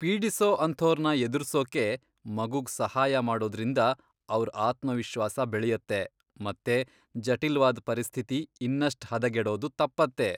ಪೀಡಿಸೋ ಅಂಥೋರ್ನ ಎದುರ್ಸೋಕೆ ಮಗುಗ್ ಸಹಾಯ ಮಾಡೋದ್ರಿಂದ ಅವ್ರ್ ಆತ್ಮವಿಶ್ವಾಸ ಬೆಳೆಯತ್ತೆ ಮತ್ತೆ ಜಟಿಲ್ವಾದ್ ಪರಿಸ್ಥಿತಿ ಇನ್ನಷ್ಟ್ ಹದಗೆಡೋದು ತಪ್ಪತ್ತೆ.